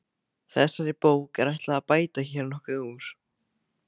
Þessari bók er ætlað að bæta hér nokkuð úr.